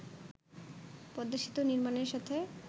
পদ্মা সেতু নির্মাণের সাথে